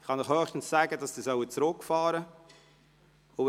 Ich kann Ihnen höchstens sagen, dass Sie diese reduzieren sollen.